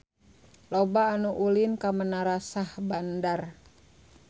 Loba anu ulin ka Menara Syahbandar